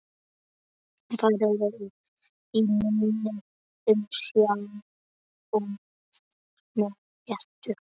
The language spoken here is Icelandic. Þeir eru í minni umsjá og það með réttu.